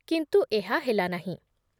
କିନ୍ତୁ ଏହା ହେଲାନାହିଁ ।